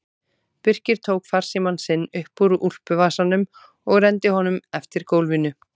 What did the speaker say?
Birkir tók farsímann sinn upp úr úlpuvasanum og renndi honum eftir gólfinu.